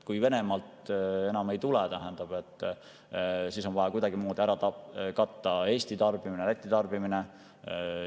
Kui Venemaalt enam gaasi ei tule, siis on vaja kuidagimoodi Eesti tarbimine ja Läti tarbimine ikkagi ära katta.